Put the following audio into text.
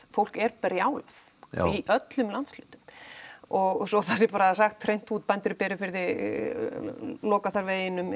fólk er brjálað í öllum landshlutum og svo það sé bara sagt hreint út bændur í Berufirði loka þar veginum